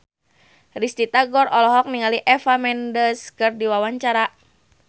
Risty Tagor olohok ningali Eva Mendes keur diwawancara